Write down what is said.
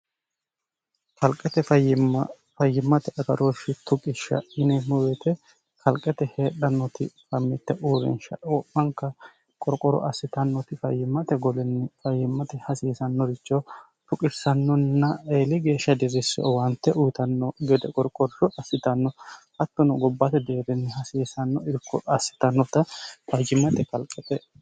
falqate fayyimma fayyimmate agarooshshi tuqishsha mineemmobeete kalqete heedhannoti famitte uurinsha o'manka qorqoro assitannoti fayyimmate golinni fayyimmate hasiisannoricho tuqissannonna eeli geeshsha dirisse owaante uyitanno gede qorqorsho assitanno hattono gobbaate deerinni hasiisanno irko assitannota fajimmate kalqate